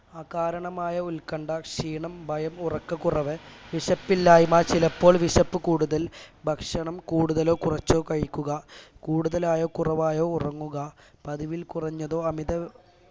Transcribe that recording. അകാരണമായ ഉത്കണ്ഠ ക്ഷീണം ഭയം ഉറക്കകുറവ് വിശപ്പില്ലായ്മ ചിലപ്പോൾ വിശപ്പ് കൂടുതൽ ഭക്ഷണം കൂടുതലോ കുറച്ചോ കഴിക്കുക കൂടുതലായോ കുറവായോ ഉറങ്ങുക പതിവിൽ കുറഞ്ഞതോ അമിത